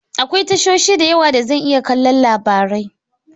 Akwai tashoshi da yawa da zan iya kallon labarai.